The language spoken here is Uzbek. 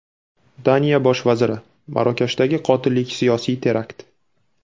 Daniya Bosh vaziri: Marokashdagi qotillik siyosiy terakt.